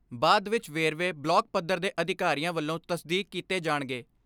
ਬਾਦ ਵਿੱਚ ਵੇਰਵੇ ਬਲਾਕ ਪੱਧਰ ਦੇ ਅਧਿਕਾਰੀਆਂ ਵੱਲੋਂ ਤਸਦੀਕ ਕੀਤੇ ਜਾਣਗੇ।